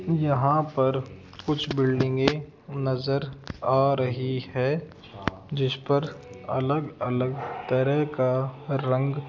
यहां पर कुछ बिल्डिंगे नजर आ रही है जिस पर अलग अलग तरह का रंग --